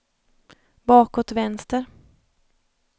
bakåt vänster